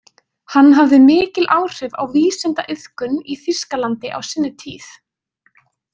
Hann hafði mikil áhrif á vísindaiðkun í Þýskalandi á sinni tíð.